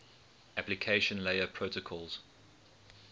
application layer protocols